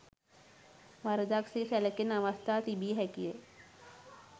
වරදක් සේ සැලකෙන අවස්ථා තිබිය හැකිය.